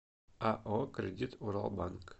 ао кредит урал банк